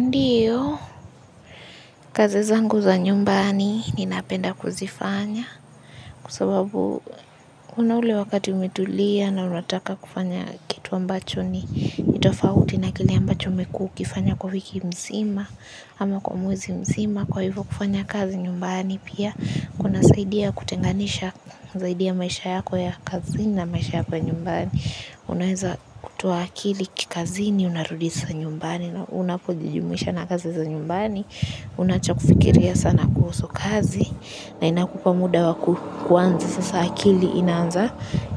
Ndio, kazi zangu za nyumbani ninapenda kuzifanya kwasababu kuna ule wakati umetulia na unataka kufanya kitu ambacho ni tofauti na kile ambacho umekifanya kwa wiki nzima kwa mwezi mzima kwa hivo kufanya kazi nyumbani pia kunasaidia kutofautisha dhidi ya maisha yako ya nyumbani na maisha ya kazini unaweza kutoa akili kikazi ni unarudisha nyumbani na unapojijumuisha na kazi za nyumbani. Unawacha kufikiria sana kuhusu kazi na inakupa muda wa kuanza sasa akili